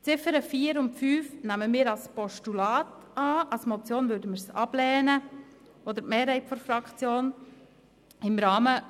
Die Ziffern 4 und 5 nehmen wir als Postulat an, als Motion würde die Mehrheit der Fraktion diese beiden Ziffern ablehnen.